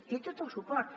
té tot el suport